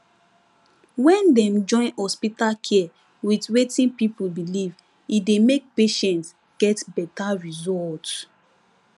when dem join hospital care with wetin people believe e dey make patients get better result